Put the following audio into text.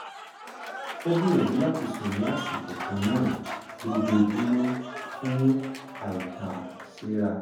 ó gbìyànjú láti sùn ní àṣikò kan náà lójoójúmọ́ fún àìtàséra